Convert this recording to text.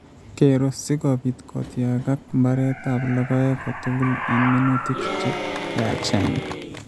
geero, si kobiit kotyagat mbareetap logoek kotugul eng' minutik che yaacheen.